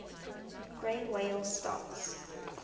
gray whales starts